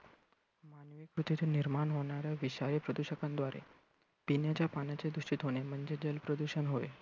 पृथ्वीतून निर्माण होणाऱ्या विषारी प्रदूषकांद्वारे पिण्याच्या पाण्याचे दूषित होणे म्हणजे जल प्रदूषण होय.